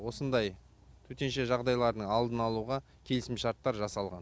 осындай төтенше жағдайлардың алдын алуға келісімшарттар жасалған